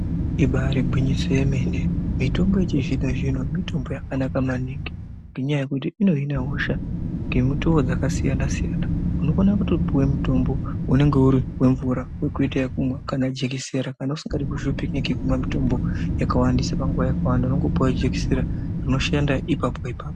Ibari gwinyiso yemene mitombo yechizvino zvino mitombo yakanaka maningi ngekuti inohine hosha ngemutuwo dzakasiyana siyana unokona kutopuwe mutombo unenge uri wemvura wekuite ukumwa kana jekisera kana usingadi kushupike ngekumwa mitombo yakawandisa panguwa yakawanda unongopuwa jekisera rinoshanda ipapa ipapo.